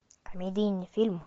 комедийный фильм